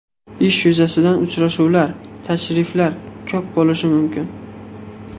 Ish yuzasidan uchrashuvlar, tashriflar ko‘p bo‘lishi mumkin.